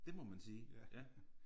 Det må man sige ja